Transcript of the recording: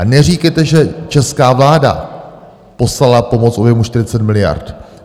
A neříkejte, že česká vláda poslala pomoc v objemu 40 miliard.